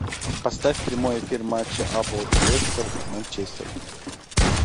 поставь прямой эфир матча апл лестер манчестер